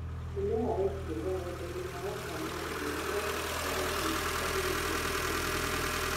Mĩmera ĩngĩ mũgũndainĩ wa wota meroni no ĩkorwo ĩĩ kĩambĩrĩria kĩa mĩrimũ.